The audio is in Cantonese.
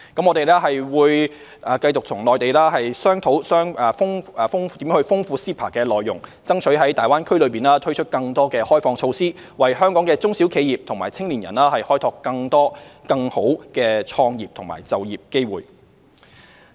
我們會與內地繼續商討如何豐富 CEPA 的內容，爭取在大灣區內推出更多開放措施，為香港中小企及青年人開拓更多更好的創業和就業機會。